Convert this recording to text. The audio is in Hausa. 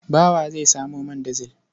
Bawa zai samo man dizil.